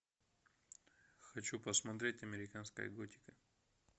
хочу посмотреть американская готика